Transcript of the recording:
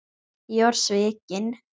Ég var svikinn